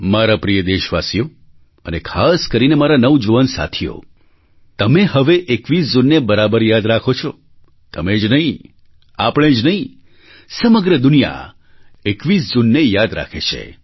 મારા પ્રિય દેશવાસીઓ અને ખાસ કરીને મારા નવજુવાન સાથીઓ તમે હવે 21 જૂનને બરાબર યાદ રાખો છો તમે જ નહીં આપણે જ નહીં સમગ્ર દુનિયા 21 જૂનને યાદ રાખે છે